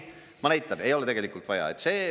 Ma näitan, et ei ole tegelikult vaja.